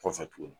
Kɔfɛ tuguni